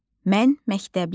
Mən məktəbliyəm.